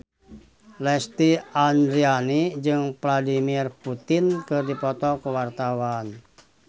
Lesti Andryani jeung Vladimir Putin keur dipoto ku wartawan